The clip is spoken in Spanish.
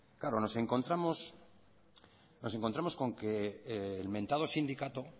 nos encontramos con el mentado sindicato